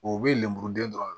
O bɛ lemuruden dɔrɔnw